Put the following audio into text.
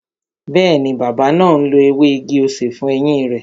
Bẹẹni, bàbá náà ń lo ewé igi-osè fún eyín rẹ